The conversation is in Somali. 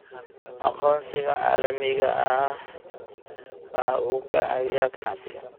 Aqoonsiga caalamiga ahi waxa uu ka caawiyaa ganacsiga.